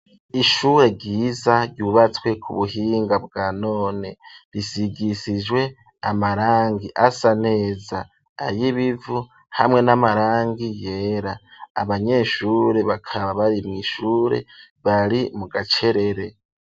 Ishure ryiza, ryubatswe ku buhinga, bwa none; risigisijwe amarangi asa neza; ay'ibivu, hamwe n'amarangi yera; abanyeshure, bakaba bari mw'ishure, bari mu gacerere.